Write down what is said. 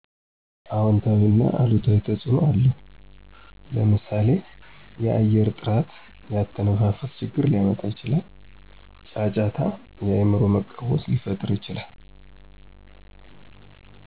አውንታዊና አሉታዊ ተፅዕኖ አለው ለምሳሌ የአየር ጥራት የአተነፋፈስ ችግር ሊያመጣ ይችላል። ጫጫታ የአእምሮ መቃወስ ሊፈጥር ይችላል።